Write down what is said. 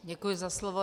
Děkuji za slovo.